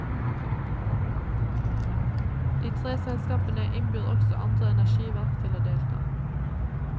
De tre selskapene innbyr også andre energiverk til å delta.